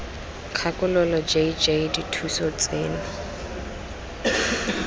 kgakololo j j dithuso tseno